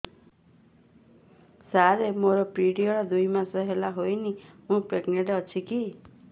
ସାର ମୋର ପିରୀଅଡ଼ସ ଦୁଇ ମାସ ହେଲା ହେଇନି ମୁ ପ୍ରେଗନାଂଟ ଅଛି କି